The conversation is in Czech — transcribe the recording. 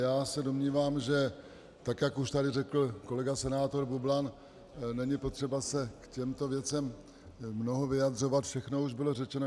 Já se domnívám, že tak jak už tady řekl kolega senátor Bublan, není potřeba se k těmto věcem mnoho vyjadřovat, všechno už bylo řečeno.